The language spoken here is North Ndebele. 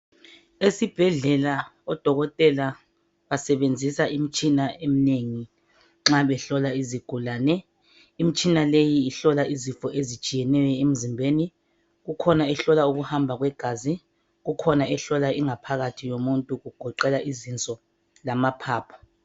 esibhedlela odokotela absebenzisa imithsina eminengi nxa behlola izigulane imitshina leyi ihlola izifo ezitshiyeneyo emzimbeni kukhona ehlola ukuhamba kwegazi kukhona ehlola ingaphakathi yomuntu kugoqela izinso lamaphaphu